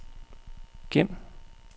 gem